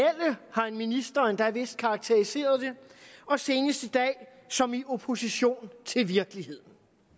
har en minister endda vist karakteriseret det og senest i dag som i opposition til virkeligheden